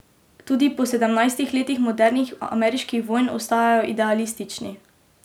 Tudi po sedemnajstih letih modernih ameriških vojn ostajajo idealistični.